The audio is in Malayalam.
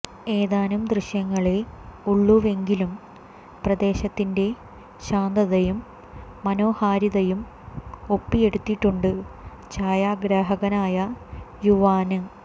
ഏതാനും ദൃശ്യങ്ങളേ ഉള്ളുവെങ്കിലും പ്രദേശത്തിന്റെ ശാന്തതയും മനോഹാരിതയും ഒപ്പിയെടുത്തിട്ടുണ്ട് ഛായാഗ്രാഹകനായ യുവാന്